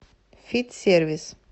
фит сервис